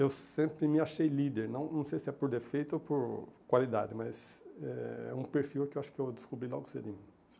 Eu sempre me achei líder, não não sei se é por defeito ou por qualidade, mas é um perfil que eu acho que eu descobri logo cedinho.